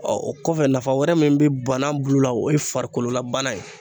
o kɔfɛ nafa wɛrɛ min bɛ banan bulu la o ye farikololabana ye